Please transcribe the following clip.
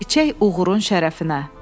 İçək oğurun şərəfinə.